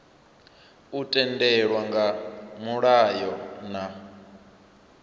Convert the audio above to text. u tendelwa nga mulayo na